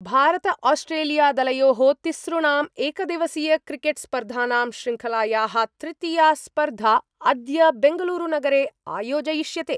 भारतआस्ट्रेलियादलयो: तिसृणाम् एकदिवसीयक्रिकेट्स्पर्धानां शृंखलाया: तृतीया स्पर्धा अद्य बंगलूरूनगरे आयोजयिष्यते।